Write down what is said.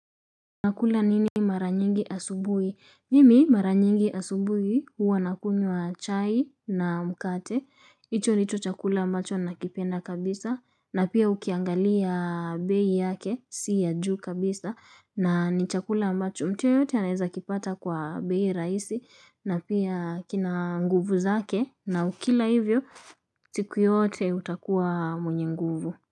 Nakula nini mara nyingi asubuhi? Mimi mara nyingi asubuhi huwa nakunywa chai na mkate. Hicho ndicho chakula macho nakipenda kabisa. Na pia ukiangalia bei yake. Si ya juu kabisa. Na ni chakula macho. Mtu yeyote anaweza kipata kwa bei rahisi. Na pia kina nguvu zake. Na ukila hivyo siku yote utakuwa mwenye nguvu.